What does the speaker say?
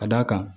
Ka d'a kan